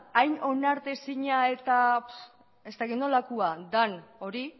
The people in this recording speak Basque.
hain onartezina eta ez dakit nolakoa den hori